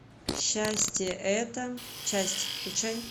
счастье это часть включай